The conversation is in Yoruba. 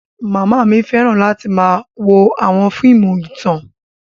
Mama mi fẹran lati wo awọn fiimu itan.